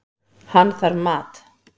Hann þarf mat.